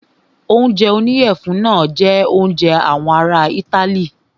Oúnjẹ oníyẹ̀fun náà jẹ oúnjẹ àwọn ará itály.